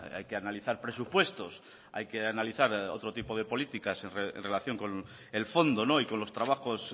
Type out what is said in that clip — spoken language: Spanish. hay que analizar presupuestos hay que analizar otro tipo de políticas en relación con el fondo y con los trabajos